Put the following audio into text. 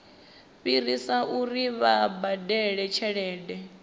fhirisa uri vha badele tshelede